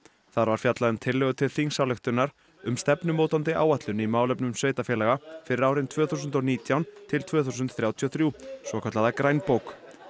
þar var fjallað um tillögu til þingsályktunar um stefnumótandi áætlun í málefnum sveitarfélaga fyrir árin tvö þúsund og nítján til tvö þúsund þrjátíu og þrjú svokallaða grænbók